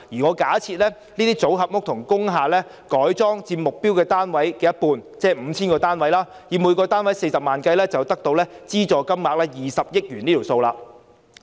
我假設這類組合屋和改裝工廈佔目標單位的一半，即 5,000 個單位，以每個單位40萬元計算，資助金額便是20億元。